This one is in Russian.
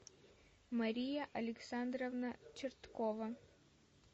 мария александровна черткова